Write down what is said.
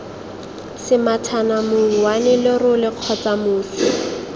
semathana mouwane lerole kgotsa mosi